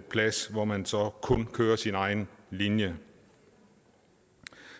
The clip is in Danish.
plads hvor man så kun kører sin egen linje